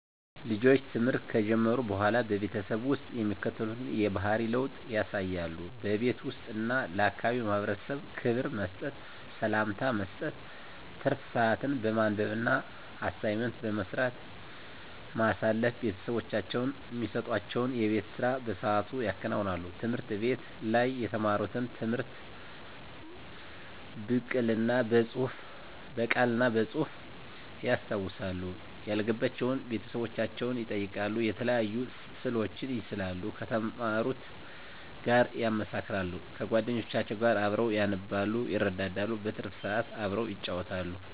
ልጆች ትምህርት ከጀመሩ በሆላ በቤተሰብ ውስጥ የሚከተሉትን የባህሪ ለውጥ ያሳያሉ:-በቤት ውስጥ እና ለአካባቢው ማህበረሰብ ክብር መስጠት፤ ሰላምታ መስጠት፤ ትርፍ ስአትን በማንበብ እና አሳይመንት በመስራት ማሳለፍ፤ ቤተሰቦቻቸው እሚሰጡዋቸውን የቤት ስራ በስአቱ ያከናውናሉ፤ ትምህርት ቤት ላይ የተማሩትን ትምህርት ብቅል እና በጹህፍ ያስታውሳሉ፤ ያልገባቸውን ቤተሰቦቻቸውን ይጠይቃሉ፤ የተለያዩ ስእሎችን ይስላሉ ከተማሩት ጋር ያመሳክራሉ፤ ከጎደኞቻቸው ጋር አብረው ያነባሉ ይረዳዳሉ። በትርፍ ስአት አብረው ይጫወታሉ።